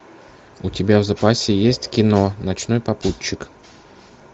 у тебя в запасе есть кино ночной попутчик